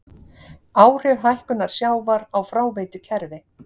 Áhrif hækkunar sjávar á fráveitukerfi.